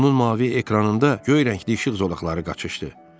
Onun mavi ekranında göy rəngli işıq zolaqları qaçışdı.